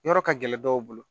Yɔrɔ ka gɛlɛn dɔw bolo